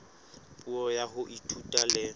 puo ya ho ithuta le